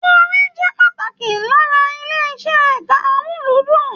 Orin jẹ pàtàkì lára ilé iṣẹ ẹka amuludun.